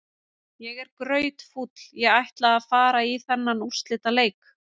Ég er grautfúll, ég ætlaði að fara í þennan úrslitaleik.